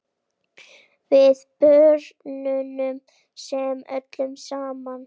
Við björgum þessu öllu saman.